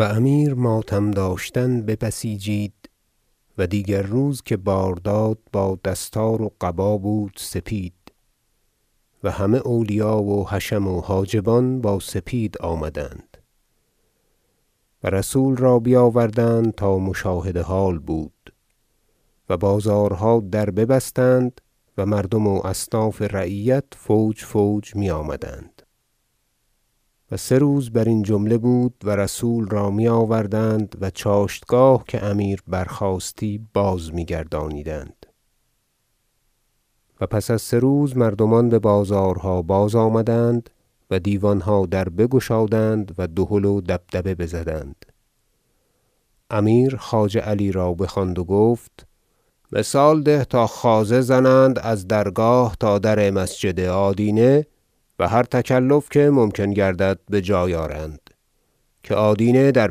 اقامه رسم تعزیت و امیر ماتم داشتن ببسیجید و دیگر روز که بار داد با دستار و قبا بود سپید و همه اولیا و حشم و حاجبان با سپید آمدند و رسول را بیاوردند تا مشاهد حال بود و بازارها در ببستند و مردم و اصناف رعیت فوج فوج میآمدند و سه روز برین جمله بود و رسول را می آوردند و چاشتگاه که امیر برخاستی بازمیگردانیدند و پس از سه روز مردمان ببازارها بازآمدند و دیوانها در بگشادند و دهل و دبدبه بزدند امیر خواجه علی را بخواند و گفت مثال ده تا خوازه زنند از درگاه تا در مسجد آدینه و هر تکلف که ممکن گردد بجای آرند که آدینه در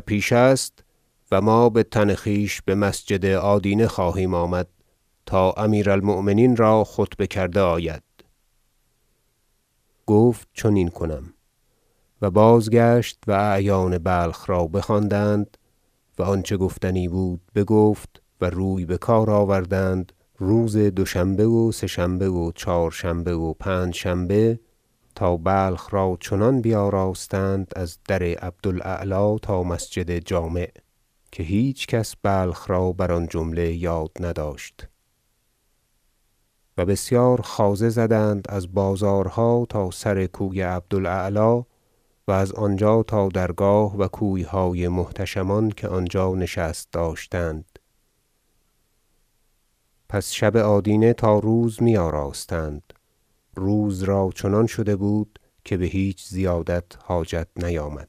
پیش است و ما بتن خویش بمسجد آدینه خواهیم آمد تا امیر المؤمنین را خطبه کرده آید گفت چنین کنم و بازگشت و اعیان بلخ را بخواند و آنچه گفتنی بود بگفت و روی بکار آوردند روز دوشنبه و سه شنبه و چهارشنبه و پنج شنبه تا بلخ را چنان بیاراستند از در عبد الاعلی تا مسجد جامع که هیچ کس بلخ را بر آن جمله یاد نداشت و بسیار خوازه زدند از بازارها تا سر کوی عبد الاعلی و از آنجا تا درگاه و کویهای محتشمان که آنجا نشست داشتند پس شب آدینه تا روز میآراستند روز را چنان شده بود که بهیچ زیادت حاجت نیامد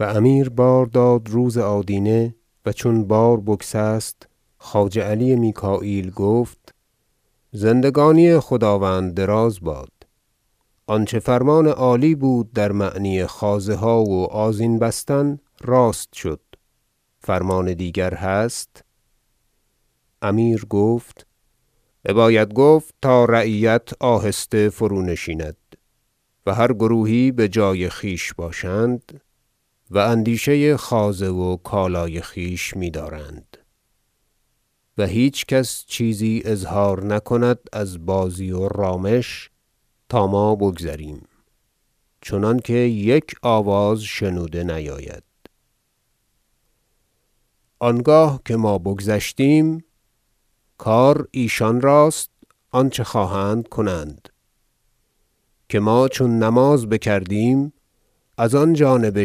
و امیر بار داد روز آدینه و چون بار بگسست خواجه علی میکاییل گفت زندگانی خداوند دراز باد آنچه فرمان عالی بود در معنی خوازه ها و آذین بستن راست شد فرمان دیگر هست امیر گفت بباید گفت تا رعیت آهسته فرو نشیند و هر گروهی بجای خویش باشند و اندیشه خوازه و کالای خویش میدارند و هیچ کس چیزی اظهار نکند از بازی و رامش تا ما بگذریم چنانکه یک آواز شنونده نیاید آنگاه که ما بگذشتیم کار ایشان راست آنچه خواهند کنند که ما چون نماز بکردیم از آنجانب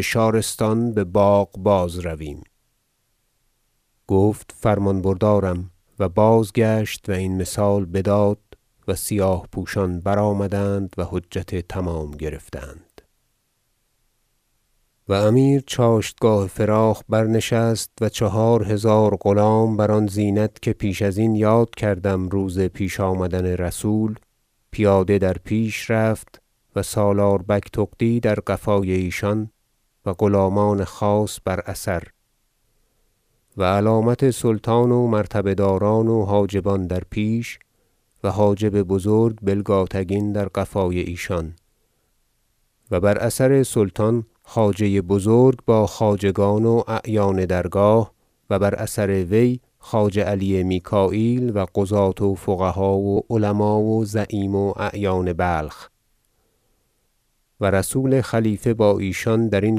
شارستان بباغ بازرویم گفت فرمان بردارم و بازگشت و این مثال بداد و سیاه پوشان برآمدند و حجت تمام گرفتند برگزاری مراسم تهنیت و مذاکره با رسول و امیر چاشتگاه فراخ برنشست و چهار هزار غلام بر آن زینت که پیش ازین یاد کردم- روز پیش آمدن رسول- پیاده در پیش رفت و سالار بگتغدی در قفای ایشان و غلامان خاص بر اثر و علامت سلطان و مرتبه داران و حاجبان در پیش و حاجب بزرگ بلگاتگین در قفای ایشان و بر اثر سلطان خواجه بزرگ با خواجگان و اعیان درگاه و بر اثر وی خواجه علی میکاییل و قضاة و فقها و علما و زعیم و اعیان بلخ و رسول خلیفه با ایشان درین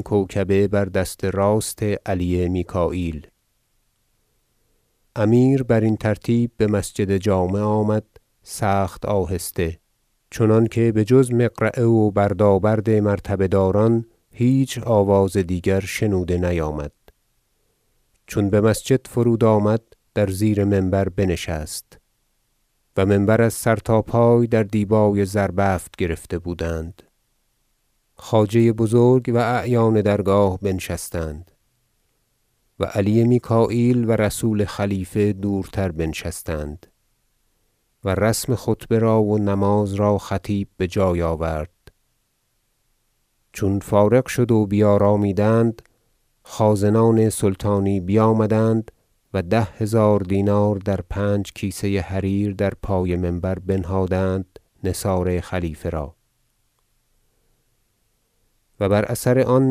کوکبه بر دست راست علی میکاییل امیر برین ترتیب بمسجد جامع آمد سخت آهسته چنانکه بجز مقرعه و بردابرد مرتبه داران هیچ آواز دیگر شنوده نیامد چون بمسجد فرود آمد در زیر منبر بنشست و منبر از سر تا پای در دیبای زربفت گرفته بودند خواجه بزرگ و اعیان درگاه بنشستند و علی میکاییل و رسول خلیفه دورتر بنشستند و رسم خطبه را و نماز را خطیب بجای آورد چون فارغ شد و بیارامیدند خازنان سلطانی بیامدند و ده هزار دینار در پنج کیسه حریر در پای منبر بنهادند نثار خلیفه را و بر اثر آن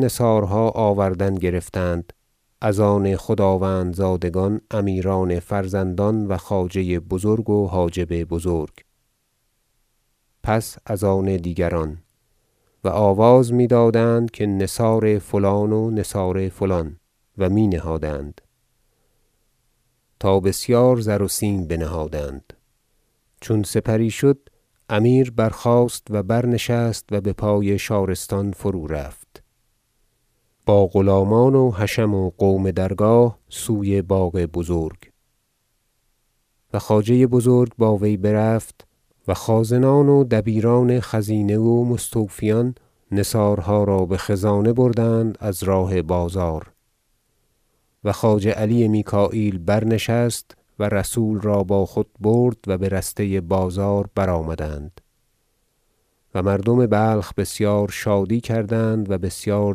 نثارها آوردن گرفتند از آن خداوندزادگان امیران فرزندان و خواجه بزرگ و حاجب بزرگ پس از آن دیگران و آواز میدادند که نثار فلان و نثار فلان و می نهادند تا بسیار زر و سیم بنهادند چون سپری شد امیر برخاست و برنشست و بپای شارستان فرو رفت با غلامان و حشم و قوم درگاه سوی باغ بزرگ و خواجه بزرگ با وی برفت و خازنان و دبیران خزینه و مستوفیان نثارها را بخزانه بردند از راه بازار و خواجه علی میکاییل برنشست و رسول را با خود برد و برسته بازار برآمدند و مردم بلخ بسیار شادی کردند و بسیار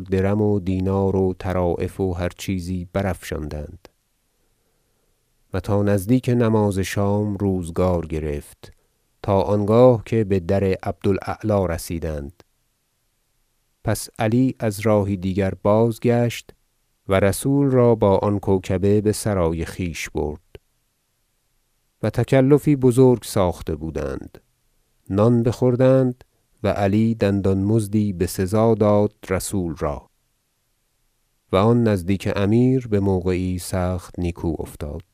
درم و دینار و طرایف و هر چیزی برافشاندند و تا نزدیک نماز شام روزگار گرفت تا آنگاه که بدر عبد الاعلی رسیدند پس علی از راهی دیگر بازگشت و رسول را با آن کوکبه بسرای خویش برد و تکلفی بزرگ ساخته بودند نان بخوردند و علی دندان مزدی بسزا داد رسول را و آن نزدیک امیر بموقعی سخت نیکو افتاد